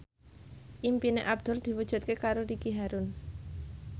impine Abdul diwujudke karo Ricky Harun